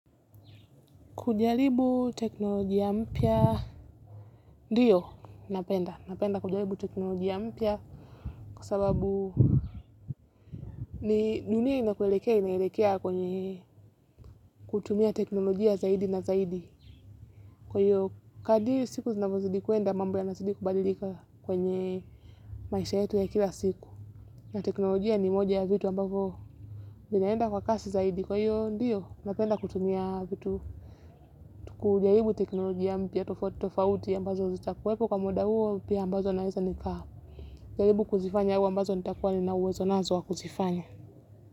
Kujaribu teknolojia mpya, ndiyo, napenda. Napenda kujaribu teknolojia mpya kwa sababu ni dunia inakoelekea kwenye kutumia teknolojia zaidi na zaidi. Kwahiyo, kadri siku zinavyozidi kwenda mambo yanazidi kubadilika kwenye maisha yetu ya kila siku. Teknolojia ni vitu ambavyo vinaenda kwa kasi zaidi. Kwayo, diyo, napenda kutumia vitu. Kujaribu teknolojia mpya tofauti tofauti ambazo zitakuwepo kwa muda huo pia ambazo naweza nikaa. Jaribu kuzifanya huo ambazo nitakuwa nina uwezo nazo wa kuzifanya.